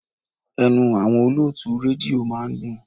Ẹnu àwọn olótùú rédíò máa ń dùn.